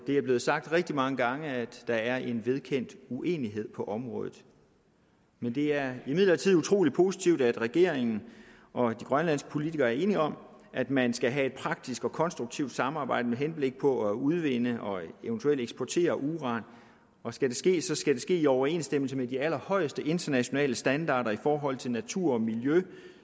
det er blevet sagt rigtig mange gange at der er en vedkendt uenighed på området men det er imidlertid utrolig positivt at regeringen og de grønlandske politikere er enige om at man skal have et praktisk og konstruktivt samarbejde med henblik på at udvinde og eventuelt eksportere uran og skal det ske skal det ske i overensstemmelse med de allerhøjeste internationale standarder i forhold til natur og miljø